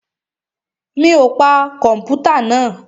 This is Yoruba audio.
Mi ò pa kọ̀mpútà náà?